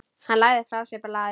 Hann lagði frá sér blaðið.